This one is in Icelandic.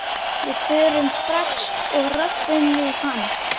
Við förum bara strax og röbbum við hann.